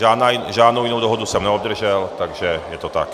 Žádnou jinou dohodu jsem neobdržel, takže je to tak.